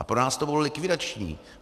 A pro nás to bylo likvidační.